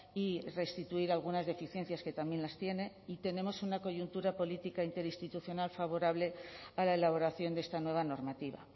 y restituir algunas deficiencias que también las tiene y tenemos una coyuntura política interinstitucional favorable a la elaboración de esta nueva normativa